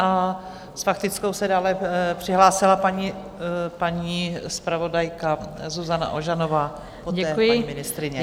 A s faktickou se dále přihlásila paní zpravodajka Zuzana Ožanová, poté paní ministryně.